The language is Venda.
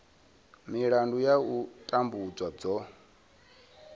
milandu ya u tambudzwa dzo